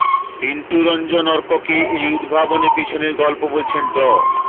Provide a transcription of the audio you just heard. পিন্টু রঞ্জন অর্ককে এই উদ্ভাবনের পেছনের গল্প বলেছেন ড